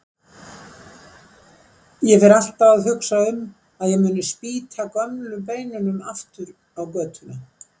Ég fer alltaf að hugsa um að ég muni spýta gömlu beinunum aftur á götuna.